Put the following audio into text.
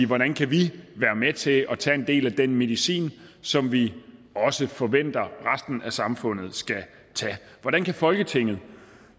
hvordan kan vi være med til at tage en del af den medicin som vi også forventer resten af samfundet skal tage hvordan kan folketinget